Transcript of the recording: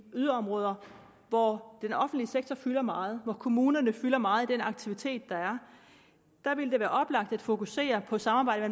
yderområder hvor den offentlige sektor fylder meget hvor kommunerne fylder meget i den aktivitet der er vil det være oplagt at fokusere på samarbejdet